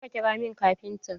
Je ka ƙira min kafintan!